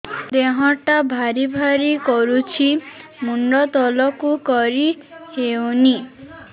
ଦେହଟା ଭାରି ଭାରି କରୁଛି ମୁଣ୍ଡ ତଳକୁ କରି ହେଉନି